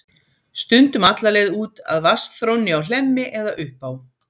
Stundum alla leið út að vatnsþrónni á Hlemmi eða upp á